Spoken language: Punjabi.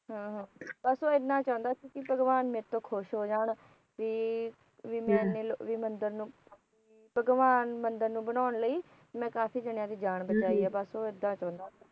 ਹਾਂ ਹਾਂ ਬੱਸ ਉਹ ਇਹਨਾਂ ਚਾਹੁੰਦਾ ਸੀ ਕੇ ਭਗਵਾਨ ਮੇਰੋ ਤੋ ਖੁਸ਼ ਹੋ ਜਾਣ ਬੀ ਮੈਂ ਭਗਵਾਨ ਮੰਦਰ ਨੂੰ ਬਨਾਉਣ ਲਈ ਮੈ ਕਾਫੀ ਲੋਕਾ ਦੀ ਜਾਨ ਬਚਾਈ ਬੱਸ ਉਹ ਇਹਦਾ ਚਾਹੁੰਦਾ ਸੀ